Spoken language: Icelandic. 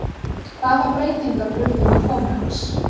Hvaða breytingar urðu með komu hans?